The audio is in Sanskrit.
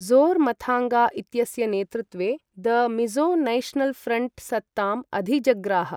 ज़ोरमथाङ्गा इत्यस्य नेतृत्वे द मिजो नैश्नल् फ्रंट् सत्तामधिजग्राह।